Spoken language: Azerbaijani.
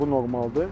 Bu normaldır.